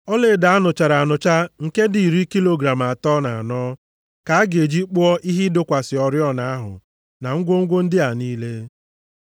Ọlaedo a nụchara anụcha nke dị iri kilogram atọ na anọ ka a ga-eji kpụọ ihe ịdọkwasị oriọna ahụ na ngwongwo ndị a niile.